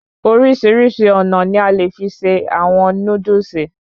Orísirísi ònà ni a le fi ṣe àwọn Núdúsì